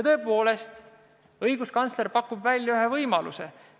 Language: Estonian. Tõepoolest, õiguskantsler pakub välja ühe võimaluse.